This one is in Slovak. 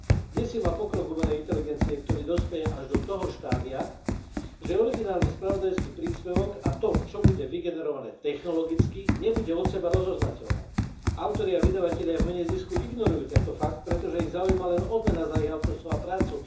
Desí ma pokrok umelej inteligencie, ktorý dospeje až do toho štádia, že originálny spravodajský príspevok a to, čo bude vygenerované technologicky, nebude od seba rozoznateľné. Autori a vydavatelia v mene zisku ignorujú tento fakt, pretože ich zaujíma len odmena za ich autorstvo a prácu.